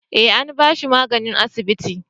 eh an bashi magani a asibiti